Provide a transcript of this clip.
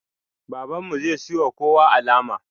Babanmu zai siyowa kowa alama